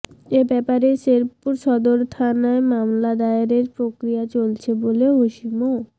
এ ব্যাপারে শেরপুর সদর থানায় মামলা দায়েরের প্রক্রিয়া চলছে বলে ওসি মো